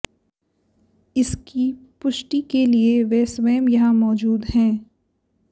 इसकी पुष्टि के लिए वे स्वयं यहां मौजूद है